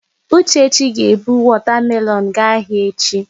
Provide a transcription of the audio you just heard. Uchechi ga-ebu wọta melọọnụ gaa ahịa echi.